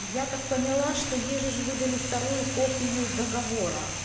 я так поняла что ей же ж выдали вторую копию договора